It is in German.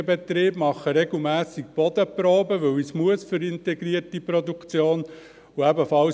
Ich habe auch einen solchen Betrieb, ich nehme regelmässig Bodenproben, weil ich dies für die integrierte Produktion tun muss.